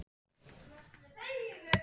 Dansleikur um kvöldið.